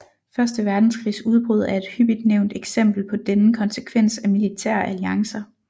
Første verdenskrigs udbrud er et hyppigt nævnt eksempel på denne konsekvens af militære alliancer